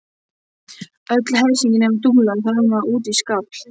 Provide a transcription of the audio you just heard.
Öll hersingin nema Dúlla þrammaði út í skafl.